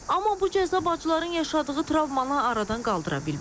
Amma bu cəza bacıların yaşadığı travmanı aradan qaldıra bilməz.